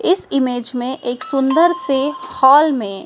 इस इमेज में एक सुंदर से हॉल में--